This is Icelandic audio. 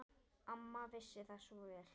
Amma vissi það svo vel.